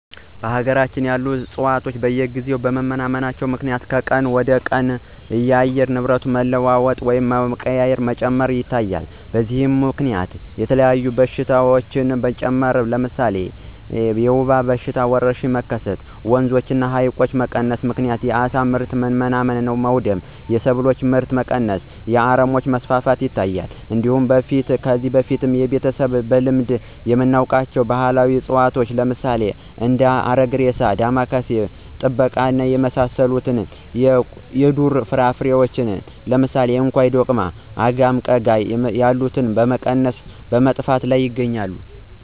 በሀገራችን ያሉ ዕፅዋት በየጊዜው በመመናመናቸው ምክንያት ከቀን ወደቀን የአየር ንብረት መቀያየር እና የሙቀት መጨመር ይታያል። በዚህም ምከንያት የተለያዩ በሽታዎች መጨመር ለምሳሌ የወባ ወረርሽኝ መከሰት፣ በወንዞች እና በሀይቆች መቀነስ ምክንያት የአሳ ምርት መመናመን እና መወደድ፣ የሰብሎች ምርት መቀነስ እና የአረሞች መስፋፋት ይታያል። እንዲሁም በፊት ከቤተሰቦቻችን በልምድ የምናውቃቸው ባህላዊ እፅዋት ለምሳሌ እንደ አረግሬሳ፣ ዳማካሴ፣ ባድማ ጠባቂ የመሳሰሉት እና የዱር ፍራፍሬዎች እንደ እንኮይ፣ ዶቅማ፣ አጋም፣ ቀጋ ያሉት በመቀነስ እና በመጥፋት ላይ ናቸው።